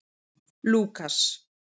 Lúkas